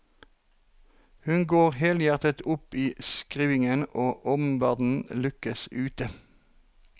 Hun går helhjertet opp i skrivingen og omverdenen lukkes ute.